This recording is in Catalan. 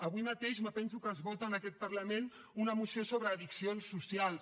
avui mateix em penso que es vota en aquest parlament una moció sobre addiccions socials